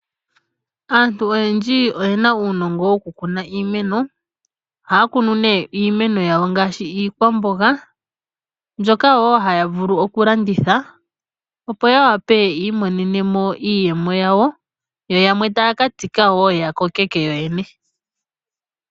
Aantu oyendji oye na uunongo wokukuna iimeno. Ohaya kunu iimeno yawo ngaashi iikwamboga, mbyoka wo haya vulu okulanditha, opo ya wape yi imonene mo iiyemo yawo, yo yamwe taya ka tsika wo ya kokeke yoyene.